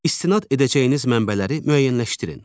İstinad edəcəyiniz mənbələri müəyyənləşdirin.